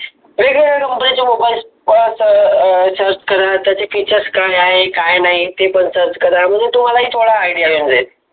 जे काही Company चे mobile त प अं search कर त्याच features आहे काय नाही ते पण search करा आणि मंग तुम्हाला थोडा idea येऊन जाईल.